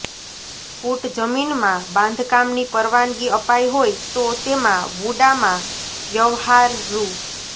ફૂટ જમીનમાં બાંધકામની પરવાનગી અપાઈ હોય તો તેમાં વુડામાં વ્યવહાર રૃ